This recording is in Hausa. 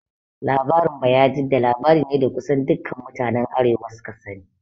Labarin Bayajidda labari ne da kusan dukan mutanen arewa su ka sani